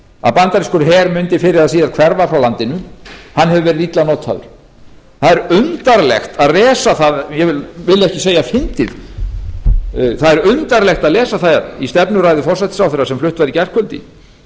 að bandarískur her mundi fyrr eða síðar hverfa frá landinu hefur verið illa notaður það er undarlegt að lesa það ég vil ekki segja fyndið það er undarlegt að lesa það í stefnuræðu forsætisráðherra sem flutt var í gærkvöldi þar sem